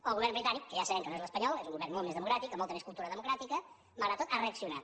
el govern britànic que ja sabem que no és l’espanyol és un govern molt més democràtic amb molta més cultura democràtica malgrat tot ha reaccionat